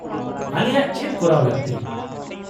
-ᱟᱞᱮᱭᱟᱜ ᱪᱮᱫ ᱠᱚᱨᱟᱣ ᱞᱟᱹᱠᱛᱤ ?